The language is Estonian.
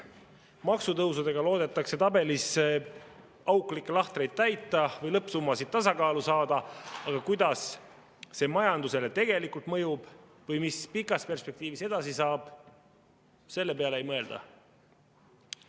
Maksutõusudega loodetakse tabelilahtrites auke täita või lõppsummasid tasakaalu saada, aga kuidas see majandusele tegelikult mõjub või mis pikas perspektiivis edasi saab, selle peale ei mõelda.